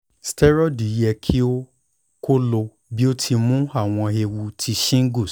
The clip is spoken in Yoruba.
steroids yẹ ki o ko lo bi o ti mu awọn eewu ti shingles